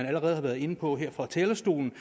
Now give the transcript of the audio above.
allerede har været inde på her fra talerstolen